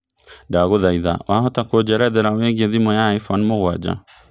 ndagũthaĩtha wahota kũnjerethera wĩigie thimũ ya iphone mũgwaja